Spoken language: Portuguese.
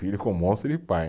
Filho com um monte de pai.